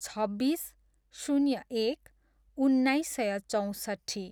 छब्बिस, शून्य एक, उन्नाइस सय चौँसट्ठी